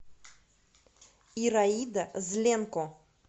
ираида зленко